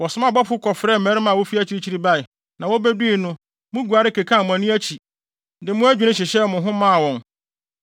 “Wɔsomaa abɔfo kɔfrɛɛ mmarima a wofi akyirikyiri bae, na wobedui no, muguare, kekaa mo ani akyi, de mo adwinne hyehyɛɛ mo ho maa wɔn.